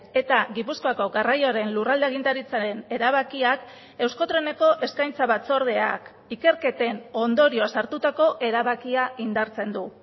eta gipuzkoako garraioaren lurralde agintaritzaren erabakiak euskotreneko eskaintza batzordeak ikerketen ondorioz hartutako erabakia indartzen du